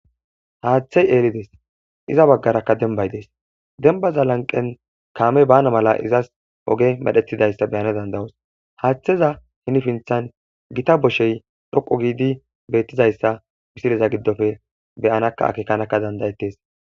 haaththey eelides iza baggarakka denbay dees denbaza lanqen kaame baana mala izas oge medhethidayssa beyana dandayos haaththeza hinifinthan gita boshey dhoqo giidi beettizayssa pisileza giddofe beyanaka akekanakka dandayetes